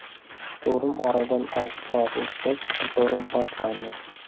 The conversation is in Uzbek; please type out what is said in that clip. Shturm Oradan olti soat o‘tgach, shturm boshlandi.